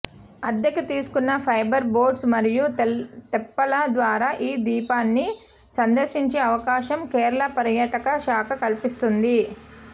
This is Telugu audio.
అద్దెకి తీసుకున్న ఫైబర్ బోట్స్ మరియు తెప్పల ద్వారా ఈ ద్వీపాన్ని సందర్శించే అవకాశం కేరళ పర్యాటక శాఖ కల్పిస్తోంది